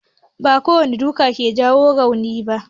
Ba kowane duka ke jawo rauni ba.